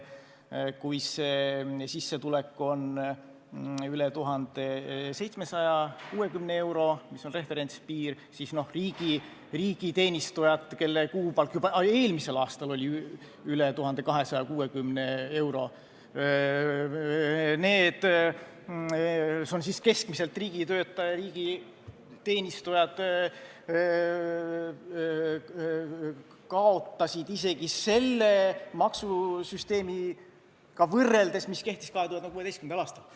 Kui sissetulek on üle 1760 euro, mis on referentspiir, siis riigiteenistujad, kelle kuupalk juba eelmisel aastal oli üle 1860 euro, keskmiselt riigitöötajatel, kaotasid isegi selle maksusüsteemiga võrreldes, mis kehtis 2016. aastal.